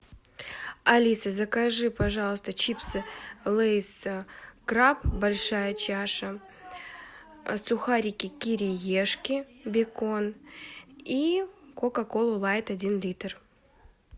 алиса закажи пожалуйста чипсы лейс краб большая чаша сухарики кириешки бекон и кока колу лайт один литр